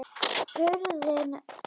Hurðin hrökk upp!